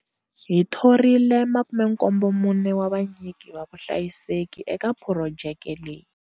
Hi thorile 74 wa vanyiki va vuhlayiseki eka phurojeke leyi.